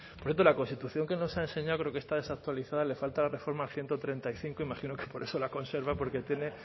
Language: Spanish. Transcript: por cierto la constitución que nos ha enseñado creo que está desactualizada le falta la reforma ciento treinta y cinco imagino que por eso la conserva porque tiene